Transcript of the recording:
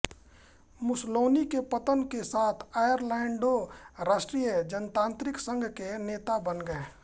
Mussolini के पतन के साथ ऑरलैंडो राष्ट्रीय जनतांत्रिक संघ के नेता बन गए